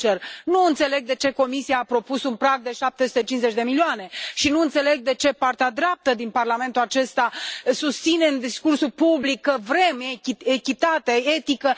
Sincer, nu înțeleg de ce Comisia a propus un prag de 750 de milioane și nu înțeleg de ce partea dreaptă din Parlamentul acesta susține în discursul public că vrem echitate și etică.